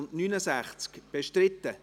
/ Adopté-e-s II. (Änderung anderer Erlasse